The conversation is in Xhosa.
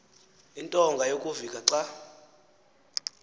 intonga yokuvika xa